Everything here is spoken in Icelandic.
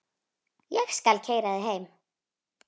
Ég skal keyra þig heim.